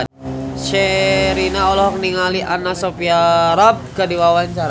Sherina olohok ningali Anna Sophia Robb keur diwawancara